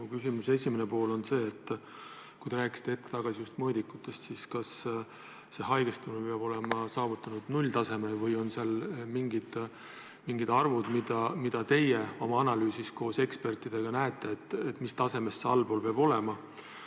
Mu küsimuse esimene pool on see: kui te rääkisite hetk tagasi just mõõdikutest, siis kas haigestumus peab olema saavutanud nulltaseme või on seal mingid arvud, mida teie oma analüüsis koos ekspertidega näete, mis tasemest allpool see peab olema.